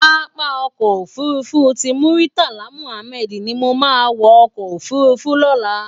Pàápá Òkò Ófúrúfú ti Múritálá Múhámèd ni mó má wò òkò ófúrúfú lòlá